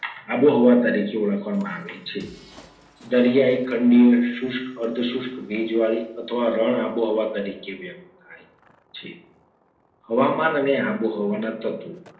આબોહવા તરીકે ઓળખવામાં આવે છે. દરિયાઈ ખંડીય શુષ્ક અર્ધસોશ્ક ભેજવાળી અથવા રણ આબોહવા તરીકે વ્યક્તથાય છે. હવામાન અને આબોહવાના તત્વો